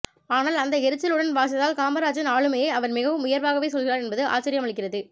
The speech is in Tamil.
ஆனால் அந்த எரிச்சலுடன் வாசித்தால் காமராஜின் ஆளுமையை அவர் மிகவும் உயர்வாகவே சொல்கிறார் என்பது ஆச்சரியமளிக்கிறது